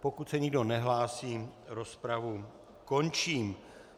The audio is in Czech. Pokud se nikdo nehlásí, rozpravu končím.